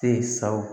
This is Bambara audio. Te ye sawu